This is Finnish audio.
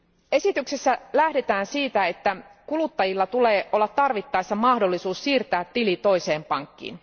Esityksessä lähdetään siitä, että kuluttajilla tulee olla tarvittaessa mahdollisuus siirtää tili toiseen pankkiin.